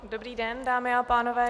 Dobrý den, dámy a pánové.